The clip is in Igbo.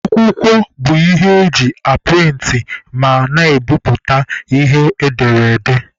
Akwụkwọ bụ ihe e ji aprịntị ma na-ebiputa ihe edere ede.